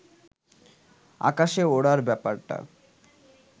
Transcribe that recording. আকাশে ওড়ার ব্যাপারটা